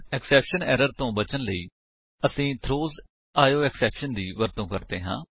exception errors ਤੋ ਬਚਨ ਲਈ ਅਸੀ ਥਰੋਜ਼ ਆਇਓਐਕਸੈਪਸ਼ਨ ਦੀ ਵਰਤੋ ਕਰਦੇ ਹਾਂ